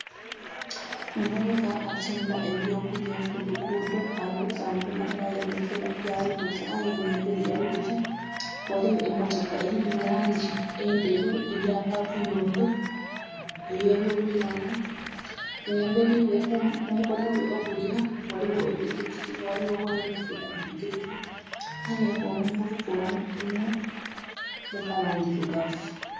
Omuvubuuka atunda ebyo kulya kuluguudo alikutambula nga ayolekera gyali kujja nga emberi jjali kujja waliyo emotoka nga erimu langi enderu eya yobuyondo nga emberi we ku mukono gwe ogulya waliwo epikipiki. Waliwo omwana ali kuvuga epikipiki aye nga omuvubuuka ono ali mu kala endirugavu